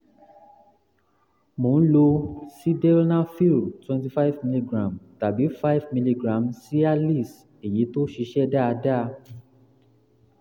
mo ń lo sildenafil 25 mg tàbí 5 mg cialis èyí tó ṣiṣẹ́ dáadáa